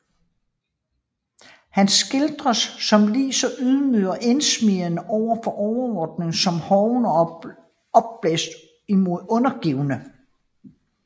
Han skildres som lige så ydmyg og indsmigrende over for overordnede som hoven og opblæst imod undergivne